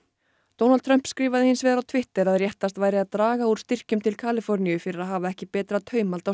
Donald Trump skrifaði hins vegar á Twitter að réttast væri að draga úr styrkjum til Kaliforníu fyrir að hafa ekki betra taumhald á